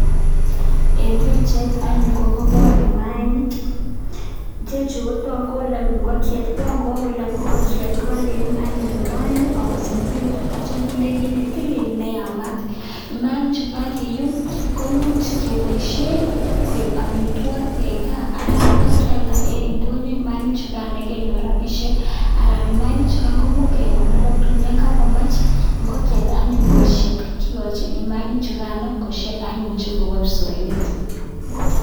Eng pichait anyun kokepor mayainik, ichechu kotokakolok ingokiet, ko ngawo look ingokiet ipakium anyun maainik amatasamisitu anityo kinde kiit ne tilil neyamat. Mayainik chekakiyum komuch kepoishen koek amitwokik eng gaa anan ipkealda eng indonyo mayainik chu kan kenyor rapishek anan mayainik chukan komuch kekonor kotuun kakomech anyun ingokiet koshep kikochi mayainik chukan anyun koshep anyun che kobo kipsoiywet.